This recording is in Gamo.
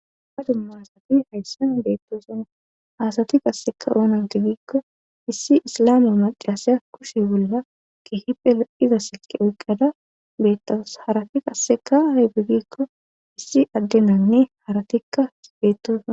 Ha dumma hasati hayssan beettoson haasati qasseka oonante giikko issi islame macasaya kushe bolla kihipela iza siqe oyqqada bettas harati qasseka haybe giikko issi addenanne haratikka bettosa.